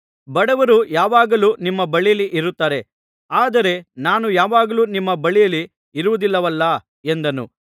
ಬಡವರು ಯಾವಾಗಲೂ ನಿಮ್ಮ ಬಳಿಯಲ್ಲಿ ಇರುತ್ತಾರೆ ಆದರೆ ನಾನು ಯಾವಾಗಲೂ ನಿಮ್ಮ ಬಳಿಯಲ್ಲಿ ಇರುವುದಿಲ್ಲವಲ್ಲಾ ಎಂದನು